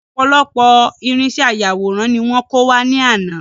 Ọ̀pọ̀lọpọ̀ irínṣẹ́ ayàwòrán ní wọ́n kó wá ní àná